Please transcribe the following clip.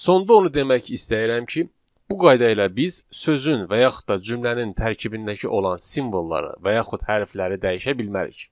Sonda onu demək istəyirəm ki, bu qayda ilə biz sözün və yaxud da cümlənin tərkibindəki olan simvolları və yaxud hərfləri dəyişə bilmərik.